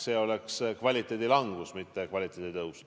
See oleks kvaliteedi langus, mitte kvaliteedi tõus.